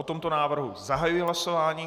O tomto návrhu zahajuji hlasování.